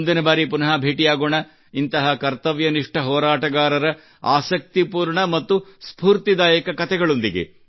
ಮುಂದಿನ ಬಾರಿ ಪುನಃ ಭೇಟಿಯಾಗೋಣ ಇಂತಹ ಕರ್ತವ್ಯನಿಷ್ಟ ಹೋರಾಟಗಾರರ ಆಸಕ್ತಿಪೂರ್ಣ ಮತ್ತು ಸ್ಫೂರ್ತಿದಾಯಕ ಕತೆಗಳೊಂದಿಗೆ